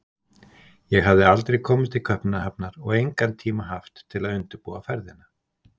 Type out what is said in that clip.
Ég hafði aldrei komið til Kaupmannahafnar og engan tíma haft til að undirbúa ferðina.